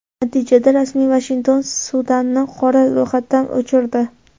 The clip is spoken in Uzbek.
Natijada, rasmiy Vashington Sudanni qora ro‘yxatdan o‘chirdi.